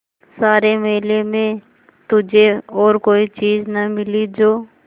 सारे मेले में तुझे और कोई चीज़ न मिली जो